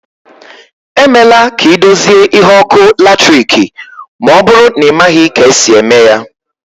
E mela ka ị dozie ihe ọkụ latiriki ma ọbụrụ na ị maghị ka esi eme ya